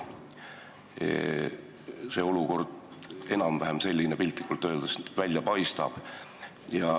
Selline see olukord enam-vähem välja paistab.